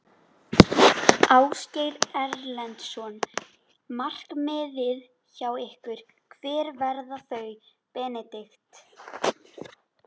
Ásgeir Erlendsson: Markmiðin hjá ykkur, hver verða þau Benedikt?